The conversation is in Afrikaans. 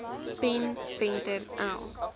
pen venter l